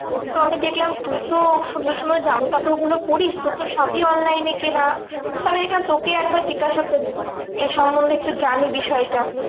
তো আমি দেখলাম তুইতো সুন্দর সুন্দর জামাকাপড় গুলো পড়িস তোর তো সবই online এ কেনা। তো আমি দেখলাম তোকেই একবার জিজ্ঞেসা করি। এই সম্বন্ধে একটু জানি বিষয়টা।